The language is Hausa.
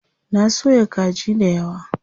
Na soya kaji dayawa.